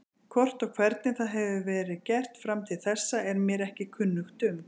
Hvort og hvernig það hefur verið gert fram til þessa er mér ekki kunnugt um.